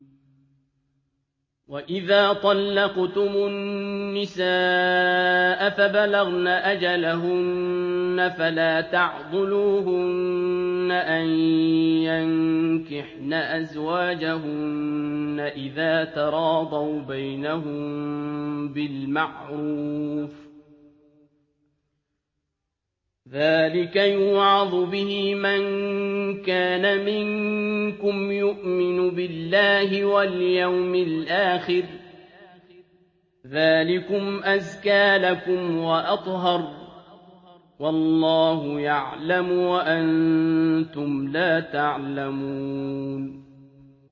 وَإِذَا طَلَّقْتُمُ النِّسَاءَ فَبَلَغْنَ أَجَلَهُنَّ فَلَا تَعْضُلُوهُنَّ أَن يَنكِحْنَ أَزْوَاجَهُنَّ إِذَا تَرَاضَوْا بَيْنَهُم بِالْمَعْرُوفِ ۗ ذَٰلِكَ يُوعَظُ بِهِ مَن كَانَ مِنكُمْ يُؤْمِنُ بِاللَّهِ وَالْيَوْمِ الْآخِرِ ۗ ذَٰلِكُمْ أَزْكَىٰ لَكُمْ وَأَطْهَرُ ۗ وَاللَّهُ يَعْلَمُ وَأَنتُمْ لَا تَعْلَمُونَ